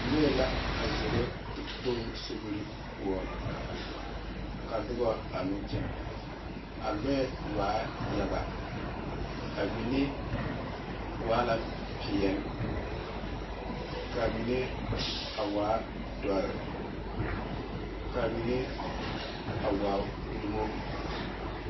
Lɔɛ la a zoro te kpoŋ sobie poɔ ka noba a meŋ kyɛne a lɔɛ waa yaga a mine waa la peɛle ka mine a waa doɔre ka mine a waa uulemo.